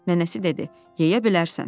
Nənəsi dedi: Yeyə bilərsən.